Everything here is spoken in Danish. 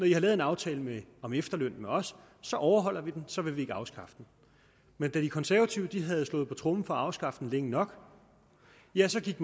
lavet en aftale om efterlønnen med os overholder vi den så vil vi ikke afskaffe den men da de konservative havde slået på tromme for at afskaffe den længe nok ja så gik